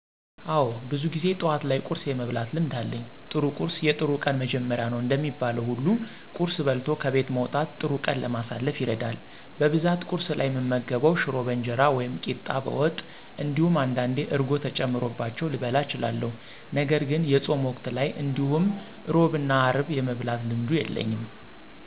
አወ ብዙ ጊዜ ጠዋት ላይ ቁርስ የመብላት ልምድ አለኝ። ጥሩ ቁርስ የጥሩ ቀን መጀመሪያ ነው እንደሚባለው ሁሉ ቁርስ በልቶ ከቤት መውጣት ጥሩ ቀን ለማሳለፍ ይረዳል። በብዛት ቁርስ ላይ እምመገበው ሽሮ በእንጀራ ወይም ቂጣ በወጥ እንዲሁም አንዳንዴ እርጎ ተጨምሮባቸው ልበላ እችላለሁ። ነገርግን የፆም ወቅት ላይ እንዲሁም ሕሮብ እና ሀርብ የመብላት ልምዱ የለኝም።